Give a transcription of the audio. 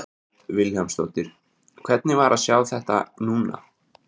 Hödd Vilhjálmsdóttir: Hvernig var að sjá þetta núna?